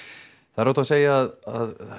það er óhætt að segja að